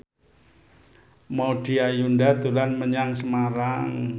Maudy Ayunda dolan menyang Semarang